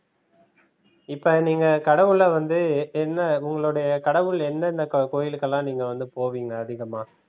இப்ப நீங்க கடவுள வந்து என்ன உங்களுடைய கடவுள் என்னென்ன க~ கோவிலுக்கெல்லாம் நீங்க வந்து போவீங்க அதிகமா?